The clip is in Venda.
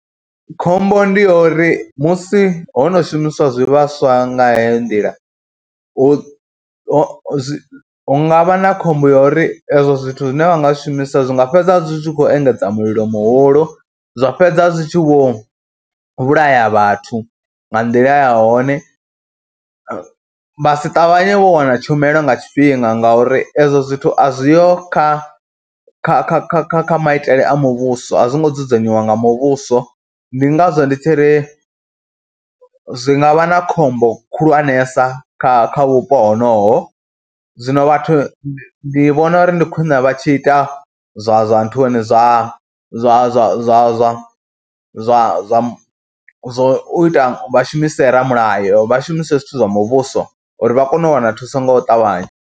Khombo ndi yo uri musi ho no shumiswa zwivhaswa nga heyo nḓila hu hu zwi, hu nga vha na khombo yori ezwo zwithu zwine vha nga zwishumiswa zwi nga fhedzisela zwi tshi khou engedza mulilo muhulu, zwa fhedza zwi tshi vho vhulaya vhathu nga nḓila ya hone. Vha si ṱavhanye vho wana tshumelo nga tshifhinga ngauri ezwo zwithu a zwi ho kha kha kha kha kha kha maitele a muvhuso, a zwo ngo dzudzanyiwa nga muvhuso. Ndi ngazwo ndi tshi ri zwi nga vha na khombo khulwanesa kha kha vhupo honoho, zwino vhathu ndi vhona uri ndi khwine vha tshi ita zwa zwa nthuni zwa zwa zwa zwa zwa zwa zwa zwa zwa u ita vha shumise ramulayo, vha shumise zwithu zwa muvhuso uri vha kone u wana thuso ngo u ṱavhanya.